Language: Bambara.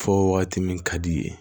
Fɔ waati min ka di i ye